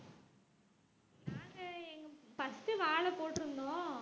நாங்க எங்~ first உ வாழை போட்டுருந்தோம்